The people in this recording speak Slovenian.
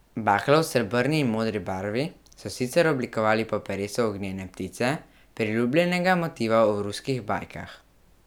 Baklo, v srebrni in modri barvi, so sicer oblikovali po peresu ognjene ptice, priljubljenega motiva v ruskih bajkah.